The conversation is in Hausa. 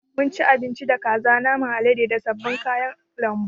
Mun ci abinci da kaza, naman alade da sabbin kayan lambu.